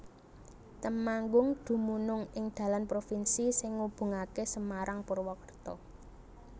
Temanggung dumunung ing dalan provinsi sing ngubungaké Semarang Purwakerta